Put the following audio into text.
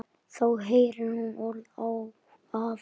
Þá heyrir hún orð afans.